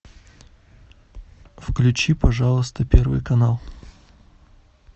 включи пожалуйста первый канал